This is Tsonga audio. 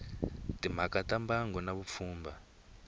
timhaka ta mbango na vupfhumba